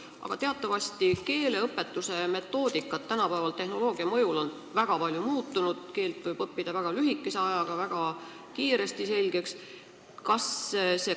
Aga teatavasti on tänapäeval keeleõpetuse metoodika tehnoloogia mõjul väga palju muutunud – keele võib väga lühikese ajaga, väga kiiresti selgeks õppida.